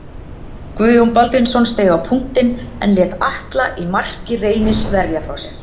Guðjón Baldvinsson steig á punktinn en lét Atla í marki Reynis verja frá sér.